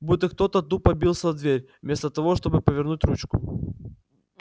будто кто-то тупо бился в дверь вместо того чтобы повернуть ручку